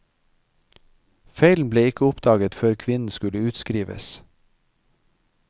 Feilen ble ikke oppdaget før kvinnen skulle utskrives.